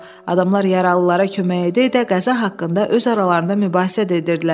Adamlar yaralılara kömək edə-edə qəza haqqında öz aralarında mübahisə də edirdilər.